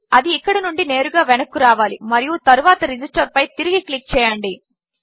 అదిఇక్కడినుండినేరుగావెనక్కురావాలిమరియుతరువాత register పైతిరిగిక్లిక్చేయండి